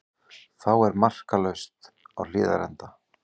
Þá er markalaust á Hlíðarenda